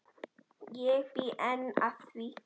Ég bý enn að því.